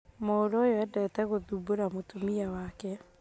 Mũrũũyũendete gũthumbũra mũtumia wake